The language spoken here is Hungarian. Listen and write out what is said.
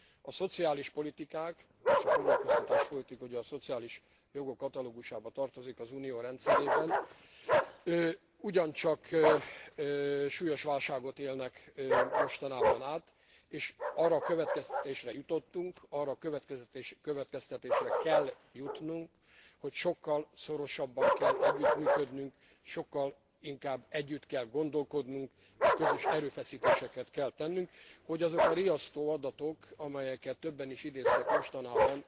A szociális politikák és a foglalkoztatáspolitika ugye a szociális jogok katalógusába tartozik az Unió rendszerében ugyancsak súlyos válságot élnek mostanában át, és arra a következtetésre jutottunk, arra a következtetésre kell jutnunk, hogy sokkal szorosabban kell együttműködnünk, sokkal inkább együtt kell gondolkodnunk, és közös erőfeszítéseket kell tennünk, hogy azok a riasztó adatok amelyeket többen is idéztek mostanában